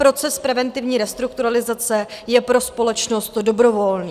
Proces preventivní restrukturalizace je pro společnost dobrovolný.